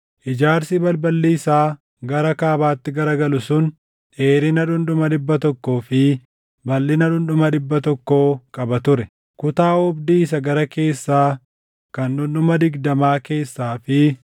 Ijaarsi balballi isaa gara kaabaatti garagalu sun dheerina dhundhuma dhibba tokkoo fi balʼina dhundhuma dhibba tokko qaba ture.